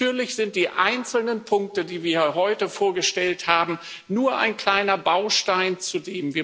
Natürlich sind die einzelnen Punkte, die wir heute vorgestellt haben, nur ein kleiner Baustein dazu.